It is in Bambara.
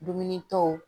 Dumunitɔw